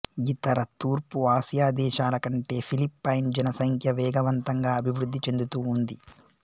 ఇతర తూర్పు ఆసియాదేశాలకంటే ఫిలిప్పైన్ జనసంఖ్య వేగవంతంగా అభివృద్ధి చెందుతూ ఉంది